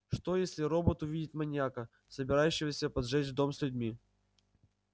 что если робот увидит маньяка собирающегося поджечь дом с людьми